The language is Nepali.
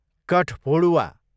कठफोडुवा